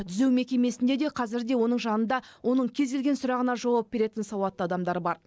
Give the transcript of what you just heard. түзеу мекемесінде де қазір де оның жанында оның кез келген сұрағына жауап беретін сауатты адамдар бар